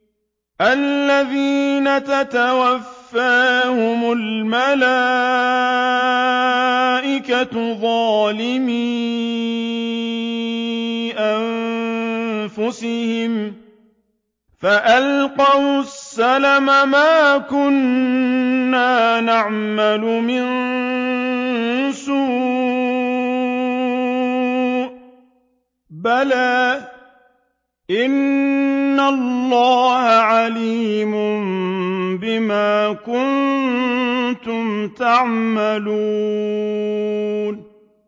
الَّذِينَ تَتَوَفَّاهُمُ الْمَلَائِكَةُ ظَالِمِي أَنفُسِهِمْ ۖ فَأَلْقَوُا السَّلَمَ مَا كُنَّا نَعْمَلُ مِن سُوءٍ ۚ بَلَىٰ إِنَّ اللَّهَ عَلِيمٌ بِمَا كُنتُمْ تَعْمَلُونَ